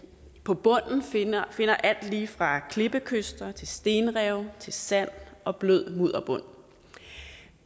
på bunden finder finder alt lige fra klippekyster til stenrev til sand og blød mudderbund